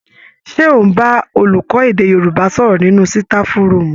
Ṣé ò ń bá olùkọ́ èdè Yorùbá sọ̀rọ̀ nínú sitafu rúùmù